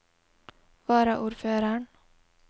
varaordføreren